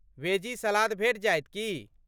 Veggie salad भेटि जायत की?